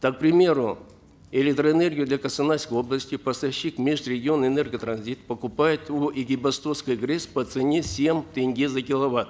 так к примеру электроэнергию для костанайской области поставщик межрегионэнерготранзит покупает у экибастузской грэс по цене семь тенге за киловатт